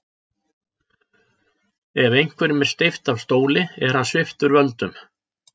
Ef einhverjum er steypt af stóli er hann sviptur völdum.